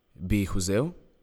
Bi jih vzel?